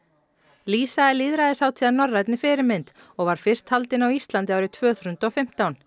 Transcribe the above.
lýsa er lýðræðishátíð að norrænni fyrirmynd og var fyrst haldin á Íslandi árið tvö þúsund og fimmtán